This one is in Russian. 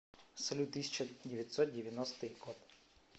салют тысяча девятьсот девяностый год